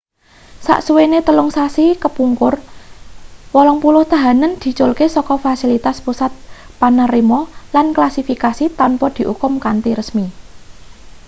sasuwene 3 sasi kepungkur 80 tahanan diculke saka fasilitas pusat panerima lan klasifikasi tanpa diukum kanthi resmi